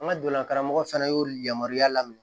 An ka donna karamɔgɔ fana y'olu yamaruya la minɛ